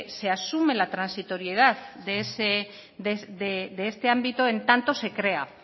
se asume la transitoriedad de este ámbito en tanto se crea